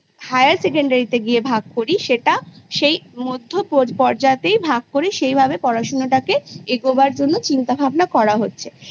Higher Secondary তে গিয়ে ভাগ করি সেটা সেই মধ্য পর্যাতেই ভাগ করে সেইভাবে পড়াশুনোটাকে এগোবার জন্য চিন্তা ভাবনা করা হচ্ছে